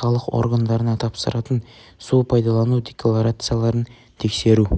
салық органдарына тапсыратын су пайдалану декларацияларын тексеру